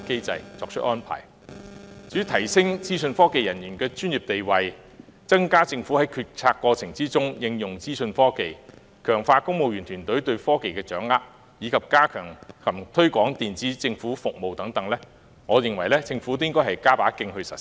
關於提升資訊科技人員的專業地位、增加政府在決策過程中應用資訊科技、強化公務員團隊對科技的掌握，以及加強及推廣電子政府服務等的建議，我認為政府應予採納，並加把勁盡早實施。